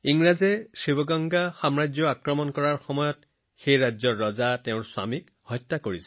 ইংৰাজে শিৱগংগা ৰাজ্যত আক্ৰমণ কৰি তেওঁৰ ৰজা আৰু স্বামীক হত্যা কৰে